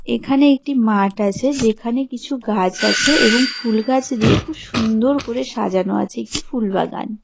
এখানে একটি মাঠ আছে যেখানে কিছু গাছ আছে এবং ফুল গাছ দিয়ে খুব সুন্দর করে সাজানো আছে একটি ফুল বাগান.